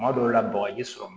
Kuma dɔw la bagaji sɔrɔ